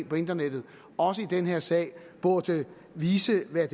på internettet også i den her sag burde vise hvad